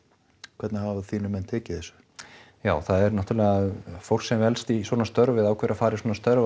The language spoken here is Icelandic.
hvernig hafa þínir menn tekið þessu já það er náttúrulega fólk sem velst í svona störf eða ákveður að fara í svona störf